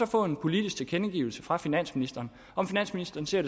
får en politisk tilkendegivelse fra finansministeren og at finansministeren siger